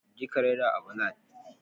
je ka raira à ballad